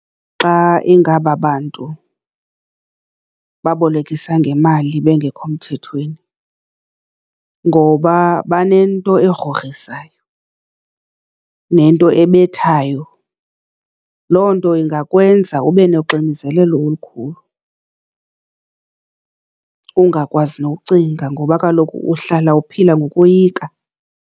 Xa ingaba bantu babolekisa ngemali bengekho mthethweni ngoba banento egrogrisayo nento ebethayo. Loo nto ingakwenza ube noxinzelelo olukhulu, ungakwazi nokucinga ngoba kaloku uhlala uphila ngokoyika.